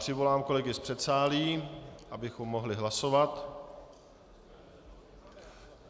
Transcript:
Přivolám kolegy z předsálí, abychom mohli hlasovat.